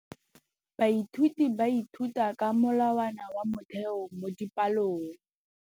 Baithuti ba ithuta ka molawana wa motheo mo dipalong.